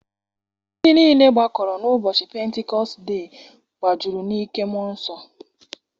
Ndị niile gbakọrọ n'ụbọchị pentikọst die gbajuru n'ike mmụọ nsọ.